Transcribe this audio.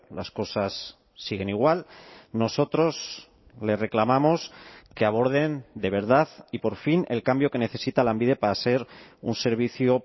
las cosas siguen igual nosotros le reclamamos que aborden de verdad y por fin el cambio que necesita lanbide para ser un servicio